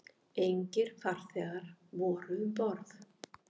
Engir farþegar voru um borð